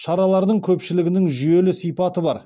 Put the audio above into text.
шаралардың көпшілігінің жүйелі сипаты бар